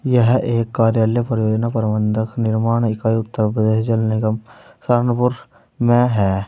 यह एक कार्यालय परियोजना प्रबंधक निर्माण इकाई उत्तर प्रदेश जल निगम सहारनपुर में है।